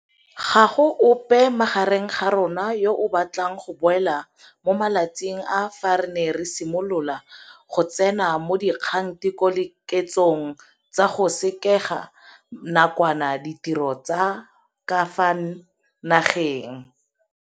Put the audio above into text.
Ga go ope gareng ga rona yo a batlang go boela mo matsatsing a fa re ne re simolola go tseno mo dikgatokiletsong tsa go sekega nakwana ditiro tsa ka fa nageng.